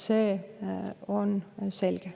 See on selge.